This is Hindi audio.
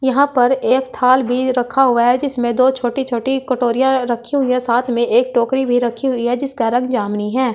यहां पर एक थाल भी रखा हुआ है जिसमें दो छोटी छोटी कटोरियां रखी हुई है साथ में एक टोकरी भी रखी हुई है जिसका रंग यामिनी है।